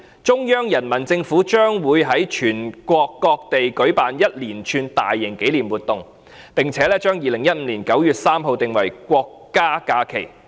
中央人民政府將會於全國各地舉辦一連串大型紀念活動，並將2015年9月3日訂為國家假期。